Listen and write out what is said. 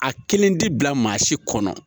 A kelen ti bila maa si kɔnɔ